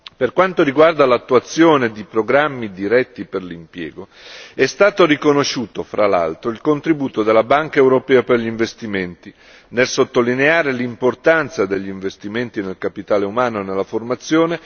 Per quanto riguarda l'attuazione di programmi diretti per l'impiego è stato riconosciuto fra l'altro il contributo della Banca europea per gli investimenti, nel sottolineare l'importanza degli investimenti nel capitale umano e nella formazione.